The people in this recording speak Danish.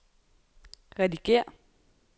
redigér